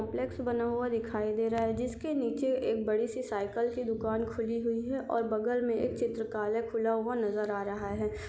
Complex बना हुआ दिखाई दे रहा है जिसके नीचे एक बड़ी सी साइकिल की दुकान खुली हुई है और बगल मे एक चित्रकालय खुला हुआ नज़र आ रहा है।